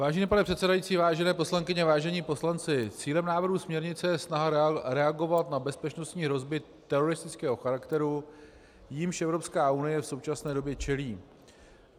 Vážený pane předsedající, vážené poslankyně, vážení poslanci, cílem návrhu směrnice je snaha reagovat na bezpečnostní hrozby teroristického charakteru, jimž Evropská unie v současné době čelí.